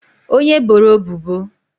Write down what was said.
onye e boro ebubo